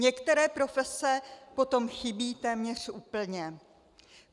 Některé profese potom chybí téměř úplně.